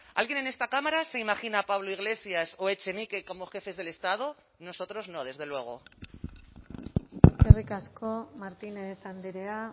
alguien en esta cámara se imagina a pablo iglesias o echenique como jefes del estado nosotros no desde luego eskerrik asko martínez andrea